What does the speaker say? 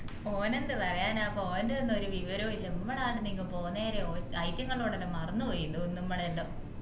ഓൻ എന്ത് പറയാനപ്പ ഓൻറ്റതോന്നു ഒരു വിവരോം ഇല്ല മ്മള് ആടന്നു ഇങ് പോന്നേരെ ഓന് മറന്നു പോയിന്നു തോന്നുന്ന് മ്മളെ യെല്ലാം